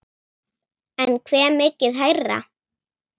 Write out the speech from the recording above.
En hve mikið hærra?